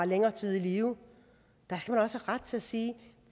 længere tid i live der skal man også have ret til at sige